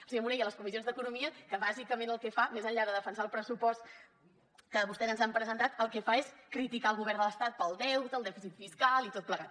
a les comissions d’economia que bàsicament el que fa més enllà de defensar el pressupost que vostès ens han presentat és criticar el govern de l’estat pel deute el dèficit fiscal i tot plegat